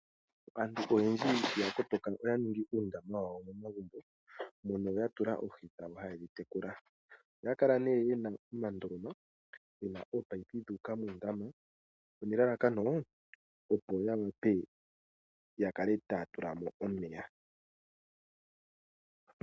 Aantu oyendji ya kotoka oya ningi uundama wawo momagumbo mono ya tula oohi dhawo haye dhi tekula. Oya kala nduno ye na omandoloma ge na ominino dhu uka muundama, nelalakano, opo ya wape ya kale taya tula mo omeya.